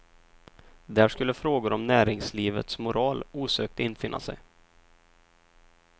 Där skulle frågor om näringslivets moral osökt infinna sig.